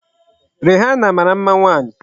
Rihana mara mma nwaanyị.